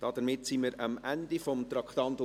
Damit sind wir am Ende von Traktandum 46 angelangt.